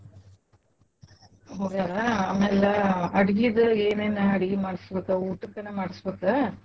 ಹೋಗ್ಯಾರಾ ಆಮ್ಯಾಲ ಅಡ್ಗಿದು ಏನೆೇನ್ ಅಡ್ಗಿ ಮಾಡ್ಸಬೇಕ್ ಊಟಕ್ಕನ ಮಾಡ್ಸ್ಬೇಕ್.